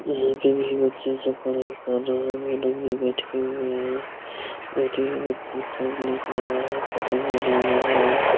यहां पे भी बच्चा सब पढ़ाई कर रहा है मैडम भी बैठे हुए हैं और ये बच्चे सब लिख रहा है पतंग बना रहा है।